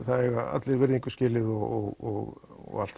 allir virðingu skilið og allt